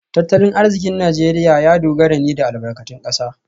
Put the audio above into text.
Tattalin arzikin Najeriya ya dogara ne da albarkatun kasa